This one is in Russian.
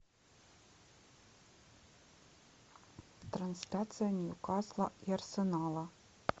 трансляция ньюкасла и арсенала